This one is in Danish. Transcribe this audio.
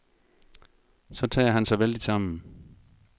Så tager han sig vældigt sammen.